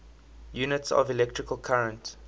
units of electrical current